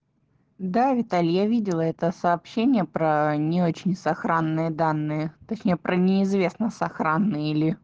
да виталь я видела это сообщение про не очень сохранённые данные точнее про неизвестно с охраны